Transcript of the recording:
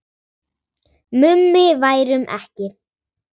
Mummi værum ekki.